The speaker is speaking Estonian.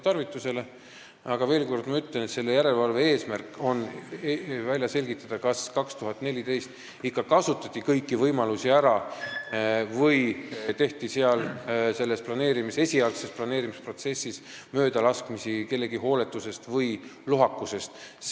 Aga ma veel kord ütlen, et järelevalve eesmärk on välja selgitada, kas 2014. aastal ikka kasutati ära kõik võimalused või tehti esialgses planeerimisprotsessis kellegi hooletuse või lohakuse tõttu möödalaskmisi.